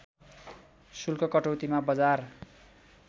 शुल्क कटौतीमा बजार